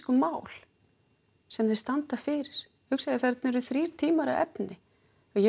mál sem þeir standa fyrir hugsaðu þarna eru þrír tímar af efni og ég veit